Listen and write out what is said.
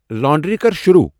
Laundry کر شروع ۔